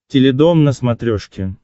теледом на смотрешке